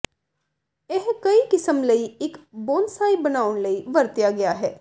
ਇਹ ਕਈ ਕਿਸਮ ਲਈ ਇੱਕ ਬੋਨਸਾਈ ਬਣਾਉਣ ਲਈ ਵਰਤਿਆ ਗਿਆ ਹੈ